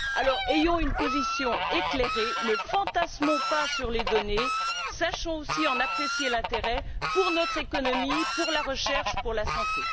Alors ayons une position éclairée, ne fantasmons pas sur les données et sachons aussi en apprécier l'intérêt pour notre économie, pour la recherche et pour la santé.